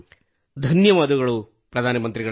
ಧನ್ಯವಾದ ಪ್ರಧಾನ ಮಂತ್ರಿಗಳೇ